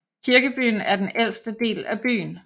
Kirkebyen er den ældste del af byen